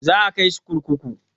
Za a kai shi kurkuku.